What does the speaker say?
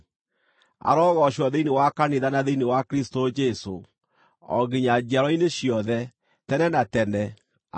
arogoocwo thĩinĩ wa kanitha na thĩinĩ wa Kristũ Jesũ, o nginya njiarwa-inĩ ciothe, tene na tene! Ameni.